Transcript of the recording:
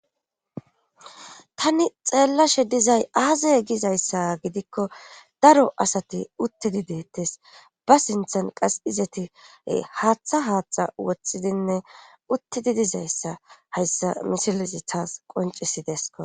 Tani xeellashe dizay aazay gizayssa gidikko daro asati uttidi deettes ba sinthan qas izati haaththa haaththa woththidinne uttidi dizayssa hayssa misilezi taas qoncisidesko